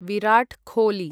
Virat Kohli